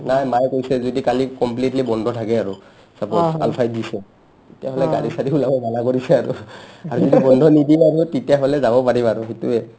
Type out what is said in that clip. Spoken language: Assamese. নাই মাই কৈছে কালি যদি completely বন্ধ থাকে আৰু suppose আলফাই দিছে তিতাহ'লে গাড়ী-চাড়ী ওলাবা মানা কৰিছে আৰু আৰু যদি বন্ধ নিদিয়ে তিতাহ'লি যাব পাৰিম আৰু সিটোৱে